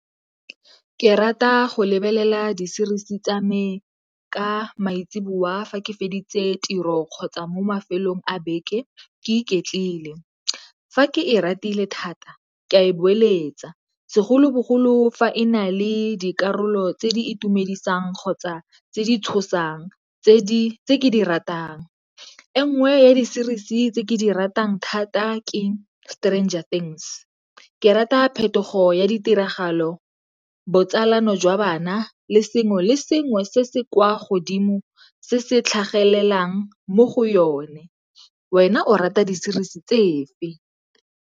Ke rata go lebelela di-series-i tsa me ka maitseo bua fa ke feditse tiro kgotsa mo mafelong a beke ke e ke iketlile. Fa ke e ratile thata, ke a e boeletsa segolobogolo fa e na le dikarolo tse di itumedisang kgotsa tse di tshosang tse ke di ratang. E nngwe ya di-series-i tse ke di ratang thata ke Stranger Things. Ke rata phetogo ya ditiragalo, botsalano jwa bana le sengwe le sengwe se se kwa godimo se se tlhagelelang mo go yone. Wena o rata di-series-i tse fe?